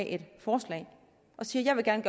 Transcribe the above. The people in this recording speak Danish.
et forslag og siger at man gerne